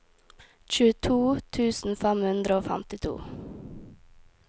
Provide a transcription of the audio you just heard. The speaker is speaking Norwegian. tjueto tusen fem hundre og femtito